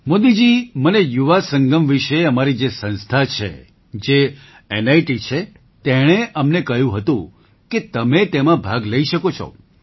મોદીજી મને યુવા સંગમ વિશે અમારી જે સંસ્થા છે જે નિત છે તેણે અમને કહ્યું હતું કે તમે તેમાં ભાગ લઈ શકો છો